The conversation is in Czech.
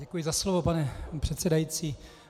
Děkuji za slovo, pane předsedající.